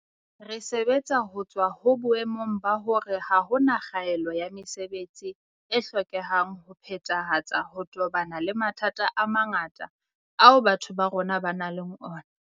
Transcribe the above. Re sebetsa ho tswa ho boemong ba hore ha hona kgaelo ya mesebetsi e hlokehang ho phethahatsa ho tobana le mathata a mangata ao batho ba rona ba nang le ona.